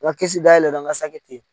Nka kisi dayɛlɛ ka sakɛ ten